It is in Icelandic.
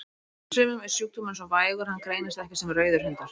Hjá sumum er sjúkdómurinn svo vægur að hann greinist ekki sem rauðir hundar.